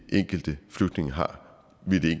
enkelte flygtning har